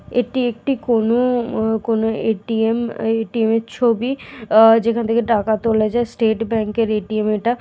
এটি একটি কোন কোন ম কোন এ.টি.এম. এ এ.টি.এম. এর ছবি আ যেখান থেকে টাকা তোলা যায়। স্টেট ব্যাংকের এ.টি.এম. এটা।